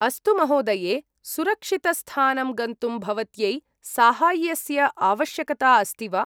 अस्तु, महोदये!, सुरक्षितस्थानं गन्तुं भवत्यै साहाय्यस्य आवश्यकता अस्ति वा?